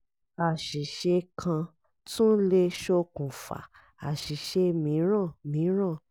àṣìṣe kan tún le ṣokùnfà àṣìṣe mìíràn mìíràn